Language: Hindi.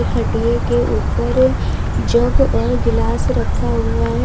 खटिए के ऊपर जग और गिलास रखा हुआ है।